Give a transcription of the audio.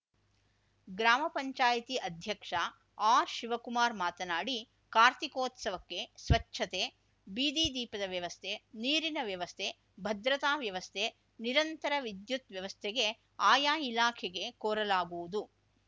ಗ್ರಾಮ ಪಂಚಾಯ್ತಿ ಅಧ್ಯಕ್ಷ ಆರ್ಶಿವಕುಮಾರ್ ಮಾತನಾಡಿ ಕಾರ್ತಿಕೋತ್ಸವಕ್ಕೆ ಸ್ವಚ್ಛತೆ ಬೀದಿ ದೀಪದ ವ್ಯವಸ್ಥೆ ನೀರಿನ ವ್ಯವಸ್ಥೆ ಭದ್ರತಾ ವ್ಯವಸ್ಥೆ ನಿರಂತರ ವಿದ್ಯುತ್‌ ವ್ಯವಸ್ಥೆಗೆ ಆಯಾ ಇಲಾಖೆಗೆ ಕೋರಲಾಗುವುದು